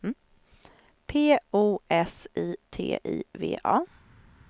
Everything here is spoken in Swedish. P O S I T I V A